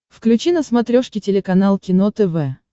включи на смотрешке телеканал кино тв